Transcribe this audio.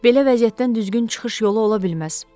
Belə vəziyyətdən düzgün çıxış yolu ola bilməz.